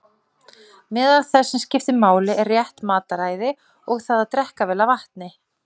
Meðal þess sem skiptir máli er rétt mataræði og það að drekka vel af vatni.